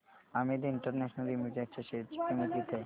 Amit international limited च्या share ची किंमत किती आहे